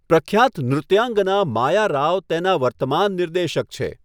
પ્રખ્યાત નૃત્યાંગનાં માયા રાવ તેના વર્તમાન નિર્દેશક છે.